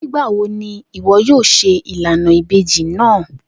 Nigbawo ni iwọ yoo ṣe ilana ibeji naa?